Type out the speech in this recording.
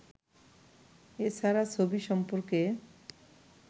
এ ছাড়া ছবি সম্পর্কে